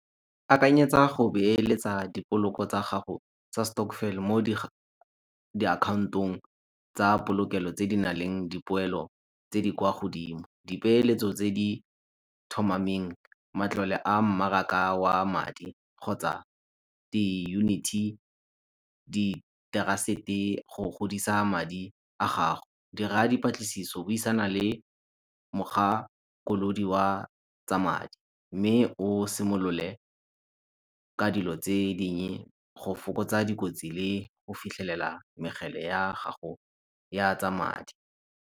Akanyetsa go beletsa dipoloko tsa gago tsa stokvel mo mo di account-ong tsa polokelo tse di nang le dipoelo tse di kwa godimo. Dipeeletso tse di thomameng matlole a mmaraka wa madi kgotsa di unity, di trust-e go godisa madi a gago. Dira diplatlisiso buisana le mokgakolodi wa tsa madi mme o simolole ka dilo tse dingi go fokotsa dikotsi le go fitlhelela ya gago ya tsa madi.